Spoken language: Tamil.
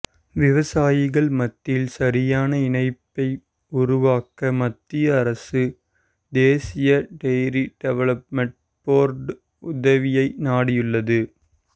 விவசாயிகள் மத்தியில் சரியான இணைப்பை உருவாக்க மத்திய அரசு தேசிய டெய்ரி டெவலப்மெண்ட் போர்டு உதவியை நாடியுள்ளது